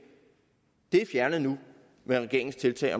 er fjernet nu med regeringens tiltag